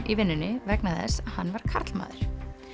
í vinnunni vegna þess hann var karlmaður